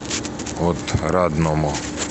отрадному